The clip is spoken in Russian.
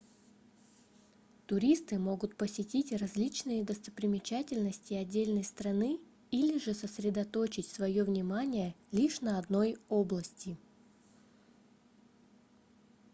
туристы могут посетить различные достопримечательности отдельной страны или же сосредоточить своё внимание лишь на одной области